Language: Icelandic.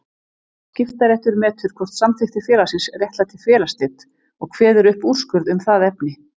Skiptaréttur metur hvort samþykktir félagsins réttlæti félagsslit og kveður upp úrskurð um það efni.